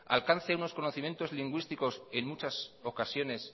alcance unos conocimientos lingüísticos en muchas ocasiones